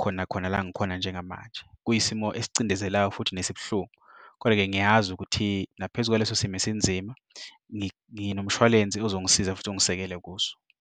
khona khona la ngikhona njengamanje kwisimo esicindezelayo futhi nesibuhlungu koda-ke ngiyazi ukuthi naphezu kwaleso simo esinzima nginomshwalense ozongisiza futhi ungisekele kuso.